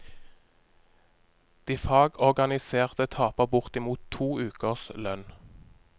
De fagorganiserte taper bortimot to ukers lønn.